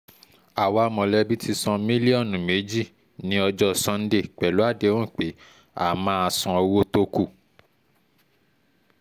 àwa mọ̀lẹ́bí ti san mílíọ̀nù méjì ní ọjọ́ sánńdè pẹ̀lú àdéhùn pé a máa san owó tó kù